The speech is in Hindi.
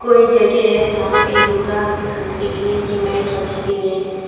कोई जगह है जहां पे योग सिखा सिखने की मैट रखी गई है।